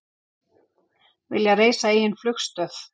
Vilja reisa eigin flugstöð